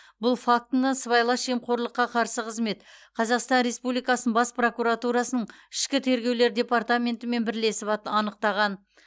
бұл фактіні сыбайлас жемқорлыққа қарсы қызмет қазақстан республикасының бас прокуратурасының ішкі тергеулер департаментімен бірлесіп анықтаған